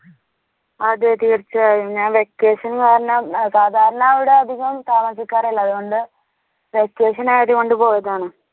അതെ തീർച്ചയായും ഞാൻ vacation കാരണം സാധാരണ ഇവിടെ അധികം താമസിക്കാറില്ല അതുകൊണ്ട് vacation ആയതുകൊണ്ട് പോയതാണ്